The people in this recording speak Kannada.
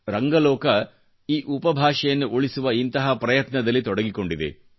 ರಂಗ ಲೋಕ ಈ ಉಪಭಾಷೆಯನ್ನು ಉಳಿಸುವ ಇಂತಹ ಪ್ರಯತ್ನದಲ್ಲಿ ತೊಡಗಿಕೊಂಡಿದೆ